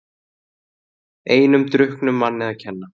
Einum drukknum manni að kenna